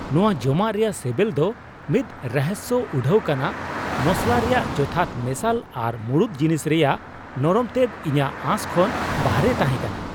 ᱱᱚᱶᱟ ᱡᱚᱢᱟᱜ ᱨᱮᱭᱟᱜ ᱥᱮᱵᱮᱞ ᱫᱚ ᱢᱤᱫ ᱨᱚᱦᱚᱥᱭᱚ ᱩᱰᱷᱟᱹᱣ ᱠᱟᱱᱟ; ᱢᱚᱥᱞᱟ ᱨᱮᱭᱟᱜ ᱡᱚᱛᱷᱟᱛ ᱢᱮᱥᱟᱞ ᱟᱨ ᱢᱩᱲᱩᱫ ᱡᱤᱱᱤᱥ ᱨᱮᱭᱟᱜ ᱱᱚᱨᱚᱢᱛᱮᱫ ᱤᱧᱟᱹᱜ ᱟᱥ ᱠᱷᱚᱱ ᱵᱟᱨᱦᱮ ᱛᱟᱦᱮᱸᱠᱟᱱᱟ ᱾